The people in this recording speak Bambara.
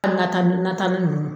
An ka taa nata ni nunnu